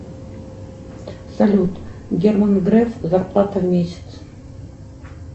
салют герман греф зарплата в месяц